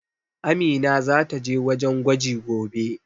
Amina zata je wajen gwaji gobe.